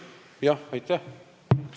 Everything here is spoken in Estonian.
Jah, aitäh!